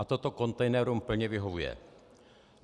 A toto kontejnerům plně vyhovuje.